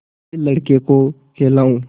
फिर लड़के को खेलाऊँ